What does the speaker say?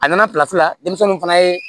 A nana la denmisɛnninw fana ye